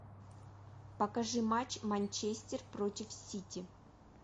покажи матч манчестер против сити